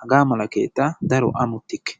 hagaa mala keettaa daro ammotikke.